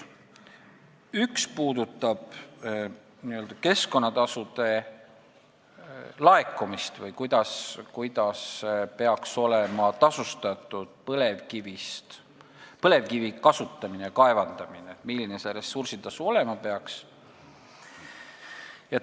Üks puudutab keskkonnatasude laekumist: seda, kuidas peaks olema tasustatud põlevkivi kasutamine, kaevandamine, milline peaks olema ressursitasu.